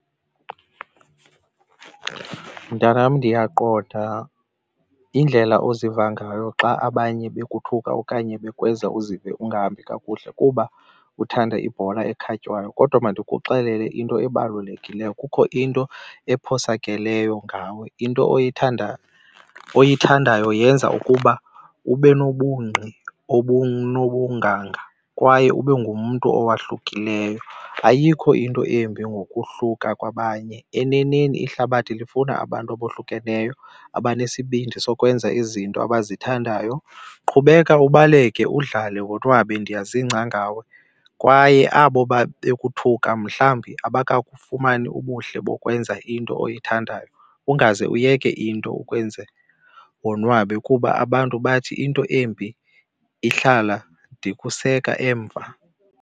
Mntanam, ndiyaqonda indlela oziva ngayo xa abanye bekuthuka okanye bekwenza uzive ungahambi kakuhle kuba uthanda ibhola ekhatywayo. Kodwa mandikuxelele into ebalulekileyo, kukho into ephosakeleyo ngawe, into oyithandayo yenza ukuba ube nobungqi obunobunganga kwaye ube ngumntu owohlukileyo. Ayikho into embi ngokwahluka kwabanye, eneneni ihlabathi lifuna abantu abohlukeneyo abanesibindi sokwenza izinto abazithandayo. Qhubeka ubaleke udlale wonwabe, ndiyazingca ngawe, kwaye abo babekuthuka mhlambi abakufumani ubuhle bokwenza into oyithandayo. Ungaze uyeke into ekwenza wonwabe kuba abantu bathi into embi ihlala, ndikuseka emva.